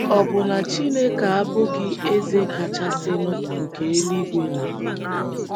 Ọ̀ bụ na Chineke abụghị Eze Kachasịnụ nke eluigwe na ala?